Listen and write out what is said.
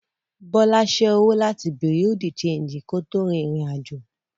Bọ́lá ṣé owó láti Bùréàú de ṣéńjì kó tó rin ìrìn àjò